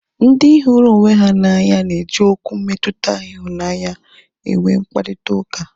Ndị hụrụ onwe ha n'anya na eji Okwu mmetụta ịhụnanya enwe mkparịta ụka